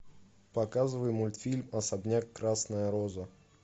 показывай мультфильм особняк красная роза